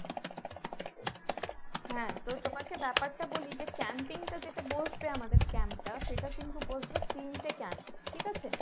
হ্যাঁ তো তোমাকে ব্যাপারটা বলি যে camping টা যেটা বসবে আমাদের camp টা সেটা কিন্তু বসবে তিনটে camp ঠিক আছে।